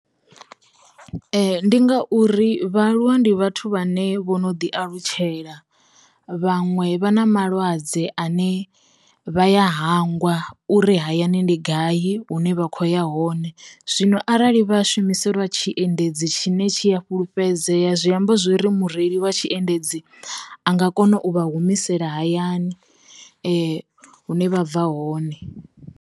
Ndi ngauri vhaaluwa ndi vhathu vhane vho no ḓi alutshela, vhaṅwe vha na malwadze ane vha ya hangwa uri hayani ndi gai hune vha khoya ho hone zwino arali vha shumiselwa tshiendedzi tshine tshi a fhulufhedzea zwi amba zwori mureili wa tshiendedzi, a nga kona u vha humisela hayani hune vha bva hone.